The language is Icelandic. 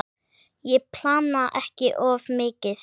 Ég plana ekki of mikið.